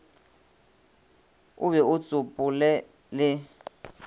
o be o tsopole le